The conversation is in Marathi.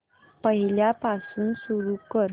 पहिल्यापासून सुरू कर